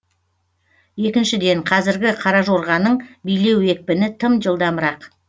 екіншіден қазіргі қаражорғаның билеу екпіні тым жылдамырақ